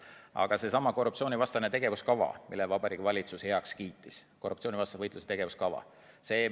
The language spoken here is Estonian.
Aga seesama korruptsioonivastane tegevuskava, mille Vabariigi Valitsus heaks kiitis – korruptsioonivastase võitluse tegevuskava.